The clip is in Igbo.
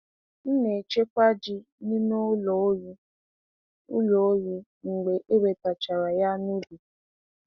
M na-echekwa ji n’ime ụlọ oyi ụlọ oyi mgbe e wetachara ya n'ubi.